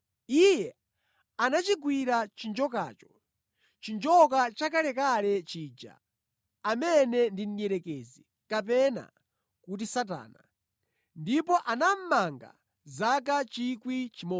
Iye anachigwira chinjokacho, chinjoka chakalekale chija, amene ndi Mdierekezi kapena kuti Satana, ndipo anamumanga zaka 1,000.